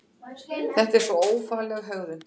Þetta er svo ófagleg hegðun!